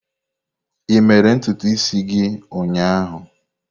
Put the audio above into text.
Ị mere ntutu isi gị ụnyaahụ?